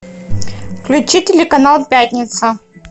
включи телеканал пятница